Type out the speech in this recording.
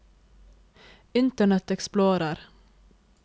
internet explorer